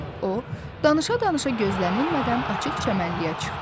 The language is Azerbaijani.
O, danışa-danışa gözlənilmədən açıq çəmənliyə çıxdı.